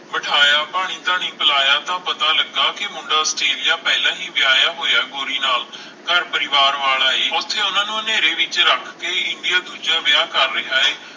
ਬਿਠਾਇਆ ਪਾਣੀ ਧਾਨੀ ਪਿਲਾਇਆ ਤਾਂ ਪਤਾ ਲਗਾ ਕੇ ਮੁੰਡਾ ਆਸਟ੍ਰੇਲੀਆ ਪਹਿਲਾ ਹੀ ਵਿਆਹੀਆਂ ਹੋਇਆ ਗੋਰੀ ਨਾਲ ਘਰ ਪਰਿਵਾਰ ਵਾਲਾ ਏ ਓਥੇ ਓਹਨਾ ਨੂੰ ਹਨੇਰੇ ਵਿਚ ਰੱਖ ਕੇ ਇੰਡੀਆ ਦੂਜਾ ਵਿਆਹ ਕਰ ਰਿਹਾ ਹੈ